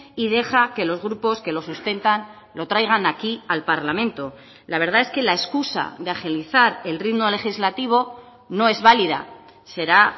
y deja que los grupos que lo sustentan lo traigan aquí al parlamento la verdad es que la excusa de agilizar el ritmo legislativo no es válida será